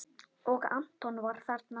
Og Anton var þarna.